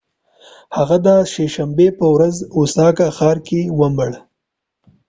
هغه د سه شنبې په ورځ په اوساکا ښار کې ومړ